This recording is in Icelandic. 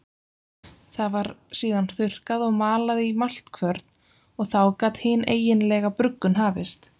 Það var síðan þurrkað og malað í maltkvörn og þá gat hin eiginlega bruggun hafist.